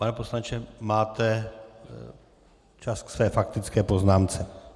Pane poslanče, máte čas ke své faktické poznámce.